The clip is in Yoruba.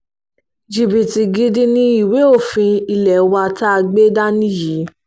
jìbìtì gidi ni ìwé òfin ilé wa tá a gbé dání yìí